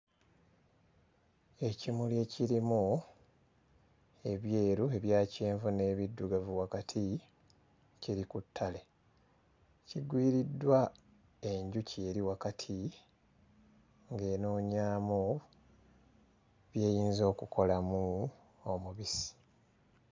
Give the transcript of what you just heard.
Ekimuli ekirimu ebyeru, ebya kyenvu n'ebiddugavu wakati kiri ku ttale kigwiriddwa enjuki eri wakati ng'enoonyaamu by'eyinza okukolamu omubisi.